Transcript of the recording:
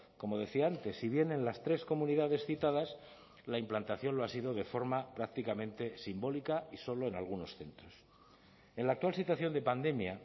como decía antes si bien en las tres comunidades citadas la implantación lo ha sido de forma prácticamente simbólica y solo en algunos centros en la actual situación de pandemia